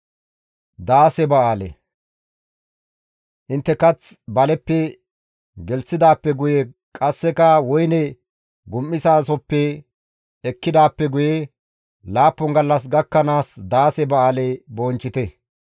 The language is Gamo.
Intte kath baleppe gelththidaappe guye qasseka woyne gum7izasohoppe ekkidaappe guye laappun gallas gakkanaas daase ba7aale bonchchite.